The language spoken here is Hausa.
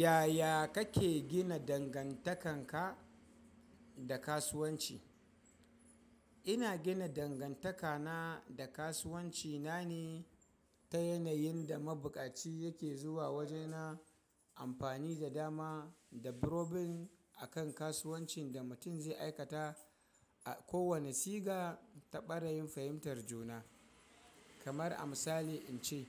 Yaya kake gina dangantakan ka da kasuwanci? Ina gina dangantaka na da kasuwanci na ne ta yanayin da mabukaci yake zuwa waje na amfani da dama da brobin a kan kasuwancin da mutum zai aikata a kowane siga ta barayin fahimtar juna. Kamar a misali in ce,